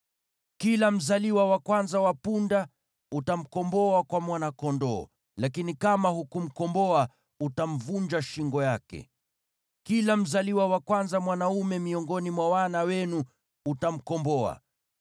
Kila mzaliwa wa kwanza wa punda utamkomboa kwa mwana-kondoo, lakini kama hukumkomboa, utamvunja shingo yake. Kila mzaliwa wa kwanza mwanaume miongoni mwa wana wenu utamkomboa.